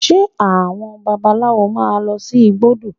Ṣe àwọn babaláwo máa lọ sí igbódù?